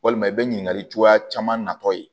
Walima i bɛ ɲininkali cogoya caman natɔ ye